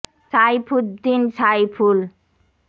সা ই ফু দ্দি ন সা ই ফু ল